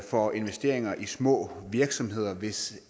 for investeringer i små virksomheder hvis